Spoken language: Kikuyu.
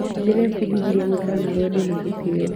Ndĩrebundithirie gũikara na rwendo na gĩtĩo.